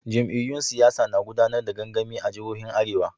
Jam'iyyun siyasa na gudanar da gangami a jihohin arewa.